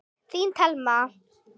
Þín Telma.